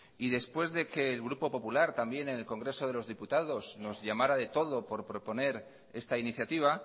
y después de que el grupo popular también en el congreso de los diputados nos llamara de todo por proponer esta iniciativa